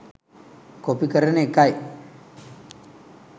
copy කරන එකයි